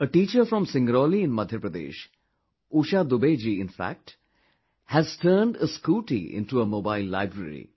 A teacher from Singrauli in Madhya Pradesh, Usha Dubey ji in fact, has turned a scooty into a mobile library